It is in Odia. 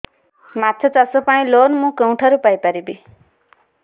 ମାଛ ଚାଷ ପାଇଁ ଲୋନ୍ ମୁଁ କେଉଁଠାରୁ ପାଇପାରିବି